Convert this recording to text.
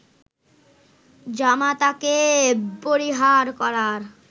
জামাতাকে পরিহার করার